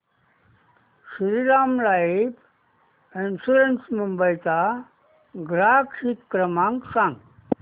Shriram life insurance Mumbai चा ग्राहक हित क्रमांक सांगा